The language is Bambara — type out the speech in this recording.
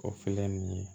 O ninnu ye